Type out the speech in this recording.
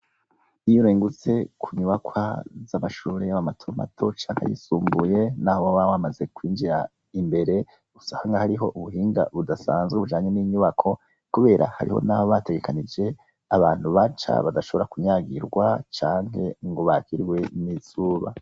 Iy'urengutse kunyubakwa z'amashure ,yaba mato mato, cank'ayisumbuye naho woba wamaze kwinjira imbere, usanga hariho ubuhinga budasanzwe bujanye n'inyubako, kubera hariho naho bategekanije abantu baca, badashobora kunyagirwa canke ngo bakirwe n'izuba.